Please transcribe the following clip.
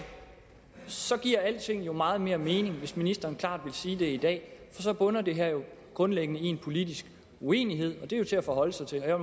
sådan alting giver jo meget mere mening hvis ministeren klart ville sige det i dag så bunder det her jo grundlæggende i en politisk uenighed og det er jo til at forholde sig til jeg